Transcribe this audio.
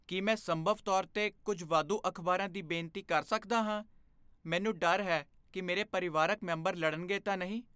ਕੀ ਮੈਂ ਸੰਭਵ ਤੌਰ 'ਤੇ ਕੁੱਝ ਵਾਧੂ ਅਖ਼ਬਾਰਾਂ ਦੀ ਬੇਨਤੀ ਕਰ ਸਕਦਾ ਹਾਂ? ਮੈਨੂੰ ਡਰ ਹੈ ਕਿ ਮੇਰੇ ਪਰਿਵਾਰਕ ਮੈਂਬਰ ਲੜਨਗੇ ਤਾਂ ਨਹੀਂ।